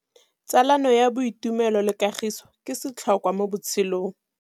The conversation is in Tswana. Tsalano ya boitumelo le kagiso ke setlhôkwa mo botshelong.